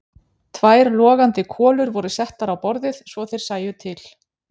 Tvær logandi kolur voru settar á borðið svo þeir sæju til.